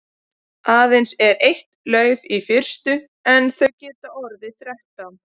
Aðeins er eitt lauf í fyrstu en þau geta orðið þrettán.